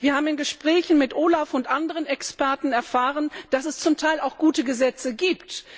Wir haben in Gesprächen mit OLAF und anderen Experten erfahren, dass es zum Teil auch gute Gesetze gibt.